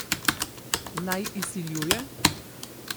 Naj izsiljuje?